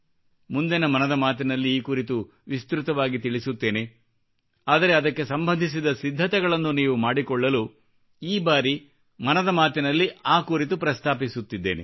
ಮುಂದಿನ ಮನದ ಮಾತಿನಲ್ಲಿ ಈ ಕುರಿತು ವಿಸ್ತೃತವಾಗಿ ತಿಳಿಸುತ್ತೇನೆ ಆದರೆ ಅದಕ್ಕೆ ಸಂಬಂಧಿಸಿದ ಸಿದ್ಧತೆಗಳನ್ನು ನೀವು ಮಾಡಿಕೊಳ್ಳಲು ಈ ಬಾರಿ ಮನದ ಮಾತಿನಲ್ಲಿ ಆ ಕುರಿತು ಪ್ರಸ್ತಾಪಿಸುತ್ತಿದ್ದೇನೆ